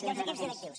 i als equips directius